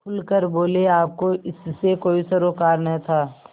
खुल कर बोलेआपको इससे कोई सरोकार न था